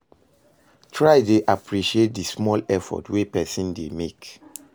Try dey appreciate di small effort wey pesin dey mek